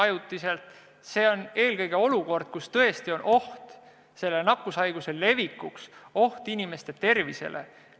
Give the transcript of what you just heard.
Tegemist peab olema olukorraga, kus tõesti on oht nakkushaiguse levikuks, esineb oht inimeste tervisele.